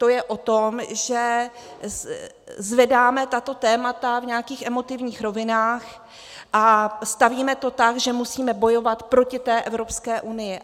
To je o tom, že zvedáme tato témata v nějakých emotivních rovinách a stavíme to tak, že musíme bojovat proti té Evropské unii.